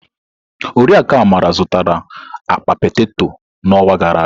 Oriakụ Amara zụtara akpa peteto n'ọnwa gara aga.